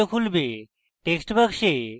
text box